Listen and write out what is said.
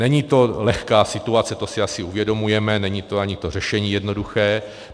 Není to lehká situace, to si asi uvědomujeme, není to ani to řešení jednoduché.